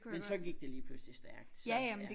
Men så gik det lige pludslig stærkt så ja